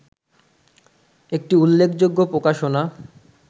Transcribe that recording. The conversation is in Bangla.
একটি উল্লেখযোগ্য প্রকাশনা